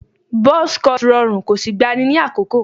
Buzz cut rọrùn kò sì gbani ní àkókò